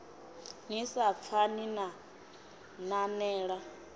ni sa pfani na nanela